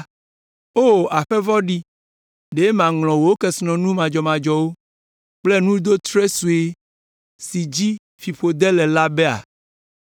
O, aƒe vɔ̃ɖi! Ɖe maŋlɔ wò kesinɔnu madzɔmadzɔ kple nudotre sue si dzi fiƒode le la bea?